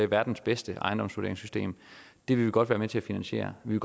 verdens bedste ejendomsvurderingssystem det vil vi godt være med til at finansiere vi